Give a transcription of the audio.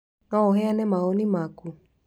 No ũheane mawoni maku?